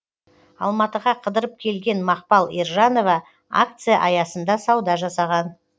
алматыға қыдырып келген мақпал ержанова акция аясында сауда жасаған